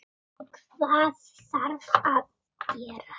Hvað þarf að gerast?